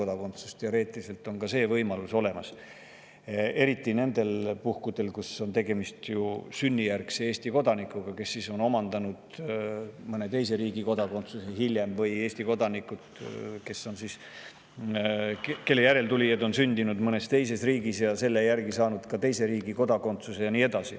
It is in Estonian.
Teoreetiliselt on ka see võimalus olemas, eriti nendel puhkudel, kus on tegemist sünnijärgse Eesti kodanikuga, kes on saanud hiljem mõne teise riigi kodakondsuse, või Eesti kodanikega, kelle järeltulijad on sündinud mõnes teises riigis ja saanud selle alusel teise riigi kodakondsuse, ja nii edasi.